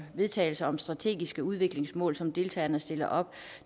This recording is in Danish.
vedtagelser om strategiske udviklingsmål som deltagerne stiller op